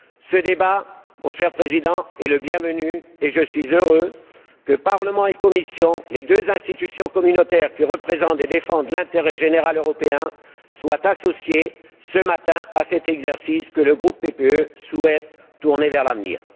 Ce débat, mon cher Président, est le bienvenu et je suis heureux que le Parlement et la Commission, les deux institutions communautaires qui représentent et défendent l'intérêt général européen, soient associés ce matin à cet exercice que le groupe PPE souhaite tourné vers l'avenir.